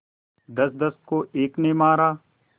दसदस को एक ने मारा